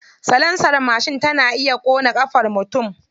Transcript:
Salansar mashin tana iya ƙona ƙafar mutum.